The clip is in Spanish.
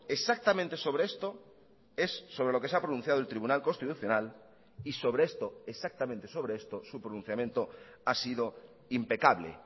exactamente sobre esto es sobre lo que se ha pronunciado el tribunal constitucional y sobre esto exactamente sobre esto su pronunciamiento ha sido impecable